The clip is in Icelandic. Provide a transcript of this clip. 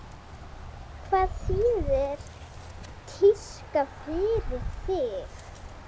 Hvað þýðir tíska fyrir þig?